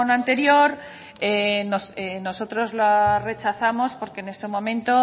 anterior nosotros la rechazamos porque en ese momento